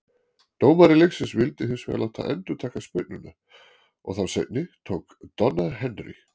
Dómari leiksins vildi hins vegar láta endurtaka spyrnuna, og þá seinni tók Donna Henry.